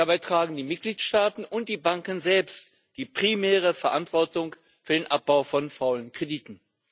Dabei tragen die Mitgliedstaaten und die Banken selbst die primäre Verantwortung für den Abbau von faulen Krediten.